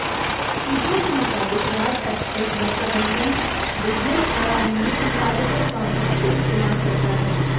सूत्रों के मुताबिक राज एक्सप्रेस प्रबंधन बिजनेस बढ़ाने में संपादकों का भरपूर इस्तेमाल करता है